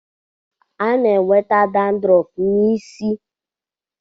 A na-enweta dadrọf n'isi.